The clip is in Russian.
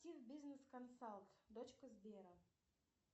бизнес консалт дочка сбера